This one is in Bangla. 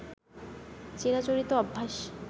চিরাচরিত অভ্যাস